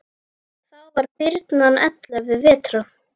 Þá var birnan ellefu vetra.